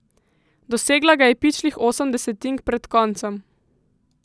Dosegla ga je pičlih osem desetink pred koncem!